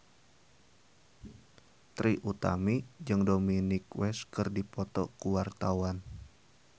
Trie Utami jeung Dominic West keur dipoto ku wartawan